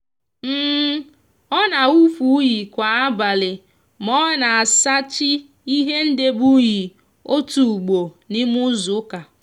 o n'awufu uyi kwa abali ma o n'asachi ihe ndebe uyi otu ugbo n' ime izuuka